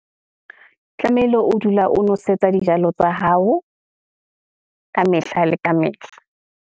Tlamehile o dula o nwesetsa dijalo tsa hao kamehla le kamehla.